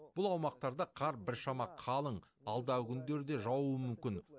бұл аумақтарда қар біршама қалың алдағы күндері де жаууы мүмкін